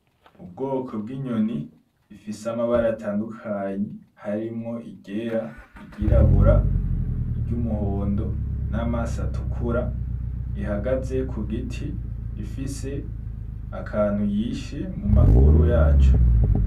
Ubwoko bw’inyoni ifise amabara atandukanye harimwo iryera, iry’irabura, iry’umuhondo, namaso atukura rihagaze ku giti rifise akantu yishe mu maguru yaco.